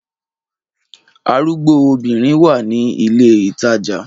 Arugbo obinrin wa ni ile itaja